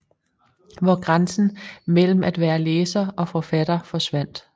Hvor grænsen mellem at være læser og forfatter forsvandt